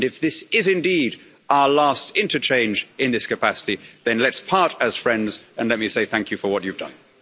If this is indeed our last interchange in this capacity, then let's part as friends and let me say thank you for what you've done.